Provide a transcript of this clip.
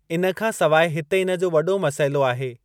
इन खां सवाइ, इते इन जो वॾो मसइलो आहे।